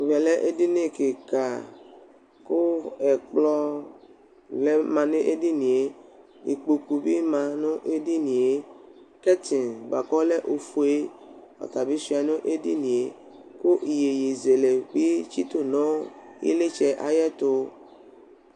Ɛvɛ lɛ edini kɩka, kʋ ɛkplo ma nʋ edini yɛ, ikpoku bɩ ma nʋ edini yɛ, kɛtsɩn, bʋa kʋ ɔlɛ ofue, ɔta bɩ sʋɩa nʋ edini yɛ, kʋ iyeye zɛ lɛ bɩ tsɩtʋ nʋ ɩlɩtsɛ bɩ ayʋ ɛtʋ